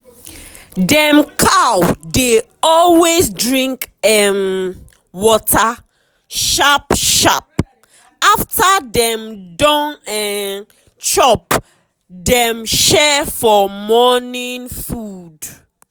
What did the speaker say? dem cow dey always drink um water sharp sharp um after dem don um chop dem share for morning food.